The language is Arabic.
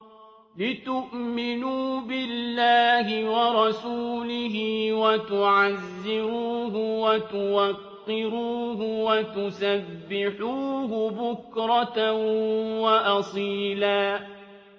لِّتُؤْمِنُوا بِاللَّهِ وَرَسُولِهِ وَتُعَزِّرُوهُ وَتُوَقِّرُوهُ وَتُسَبِّحُوهُ بُكْرَةً وَأَصِيلًا